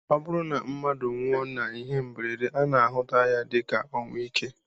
Ọ bụrụ na mmadụ nwụọ n'ihe mberede, a na-ahụta ya dịka ọnwụ ike